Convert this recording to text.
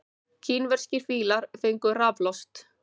Kínverskir fílar fengu raflost